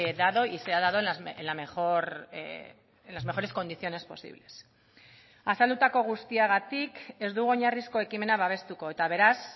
dado y sea dado en la mejor en las mejores condiciones posibles azaldutako guztiagatik ez dugu oinarrizko ekimena babestuko eta beraz